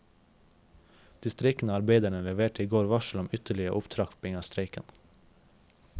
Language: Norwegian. De streikende arbeiderne leverte i går varsel om ytterligere opptrapping av streiken.